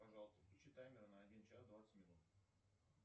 пожалуйста включи таймер на один час двадцать минут